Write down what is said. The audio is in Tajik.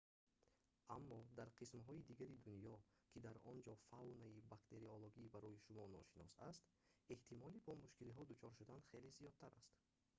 аммо дар қисмҳои дигари дунё ки дар он ҷо фаунаи бактериологӣ барои шумо ношинос аст эҳтимоли бо мушкилиҳо дучор шудан хеле зиёдтар аст